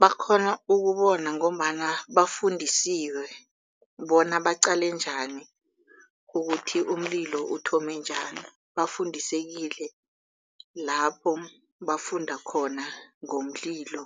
Bakghona ukubona ngombana bafundisiwe bona baqale njani ukuthi umlilo uthome njani bafundisekile lapho bafunda khona ngomlilo